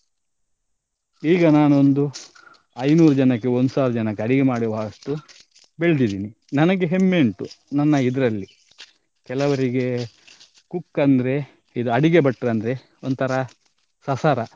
ಈಗ ನಾನೊಂದು ಐನೂರು ಜನಕ್ಕೆ ಒಂದ್ಸಾವಿರ ಜನಕ್ಕೆ ಅಡಿಗೆ ಮಾಡುವಷ್ಟು ಬೆಳೆದಿದ್ದೇನೆ. ನನಿಗೆ ಹೆಮ್ಮೆ ಉಂಟು ನನ್ನ ಇದ್ರಲ್ಲಿ ಕೆಲವರಿಗೆ cook ಅಂದ್ರೆ ಇದ್ ಅಡಿಗೆ ಭಟ್ರ ಅಂದ್ರೆ ಒಂತರ ಸಸಾರ.